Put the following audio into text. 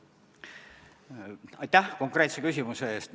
Aitäh konkreetse küsimuse eest!